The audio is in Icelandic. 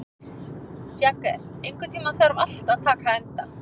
Jagger, einhvern tímann þarf allt að taka enda.